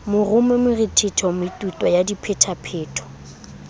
morumo morethetho metuta ya diphetapheto